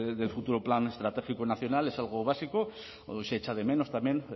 del futuro plan estratégico nacional es algo básico se echa de menos también